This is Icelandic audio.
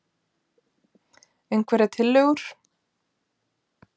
Einhverjar tillögur??